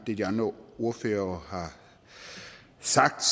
det de andre ordførere har sagt